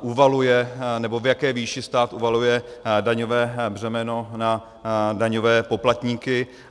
uvaluje, nebo v jaké výši stát uvaluje daňové břemeno na daňové poplatníky.